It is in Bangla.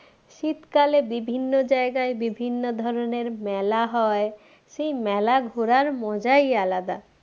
শীতকালে বিভিন্ন জায়গায় বিভিন্ন ধরণের মেলা হয় সেই মেলা ঘোড়ার মজাই আলাদা